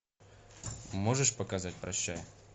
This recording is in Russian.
можешь показать прощай